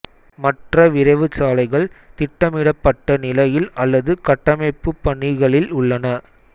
மற்ற விரைவுச்சாலைகள் திட்டமிடப்பட்ட நிலையில் அல்லது கட்டமைப்புப் பணிகளில் உள்ளன